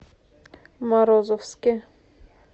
морозовске